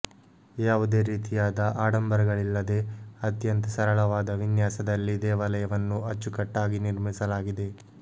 ಯಾವುದೇ ರೀತಿಯಾದ ಆಡಂಬರಗಳಿಲ್ಲದೆ ಅತ್ಯಂತ ಸರಳವಾದ ವಿನ್ಯಾಸದಲ್ಲಿ ದೇವಾಲಯನ್ನು ಅಚ್ಚುಕಟ್ಟಾಗಿ ನಿರ್ಮಿಸಲಾಗಿದೆ